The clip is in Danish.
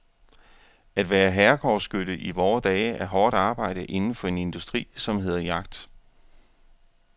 At være herregårdsskytte i vore dage er hårdt arbejde inden for en industri, som hedder jagt.